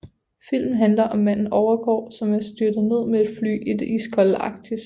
Filmen handler om manden Overgård som er styrtet ned med et fly i det iskolde Arktis